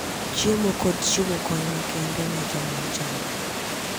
Chiemo, kod chiwo kony makende ne joma ochando.